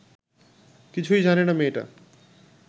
কিছুই জানে না মেয়েটা